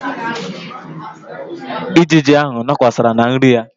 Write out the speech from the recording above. Ijiji ahụ nọkwasara na nri ya.